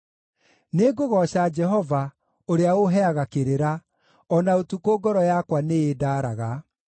Nĩngũgooca Jehova, ũrĩa ũũheaga kĩrĩra; o na ũtukũ ngoro yakwa nĩĩndaaraga.